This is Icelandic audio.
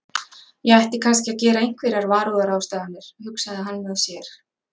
Ég ætti kannski að gera einhverjar varúðarráðstafanir, hugsaði hann með sér.